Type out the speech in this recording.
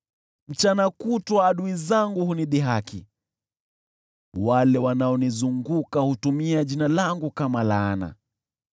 Mchana kutwa adui zangu hunidhihaki, wale wanaonizunguka hutumia jina langu kama laana.